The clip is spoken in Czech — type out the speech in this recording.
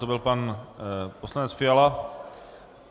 To byl pan poslanec Fiala.